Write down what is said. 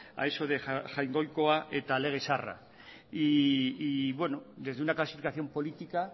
a eso de jaungoikoa eta lege zaharra y bueno desde una clasificación política